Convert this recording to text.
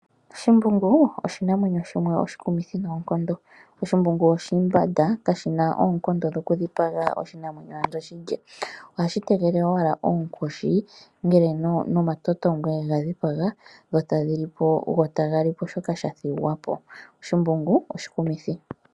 Shimbungu oshinamwenyo shimwe oshikumithi noonkondo. Oshimbungu oshimbanda kashina oonkondo dhoku dhipaga oshinamwenyo ando shi lye. Ohashi tegelele owala oonkoshi ngele nomatotongwe ga dhipaga go taga li po shoka sha thigwapo. Oshimbungu oshikumithi.